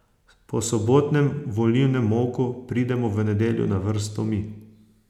Po sobotnem volilnem molku pridemo v nedeljo na vrsto mi.